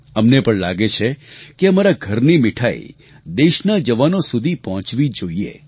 અમને પણ લાગે છે કે અમારા ઘરની મિઠાઈ દેશના જવાનો સુધી પહોંચવી જોઈએ